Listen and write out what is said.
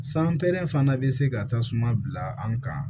San pɛrɛn fana be se ka tasuma bila an kan